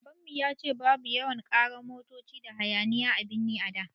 Babanmu ya ce babu yawan ƙarar motoci da hayaniya a birni a da